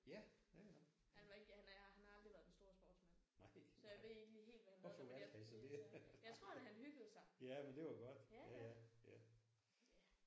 Han var ikke han har han har aldrig været den store sportsmand. Så jeg ved ikke lige helt hvad han lavede men jeg tror da han hyggede sig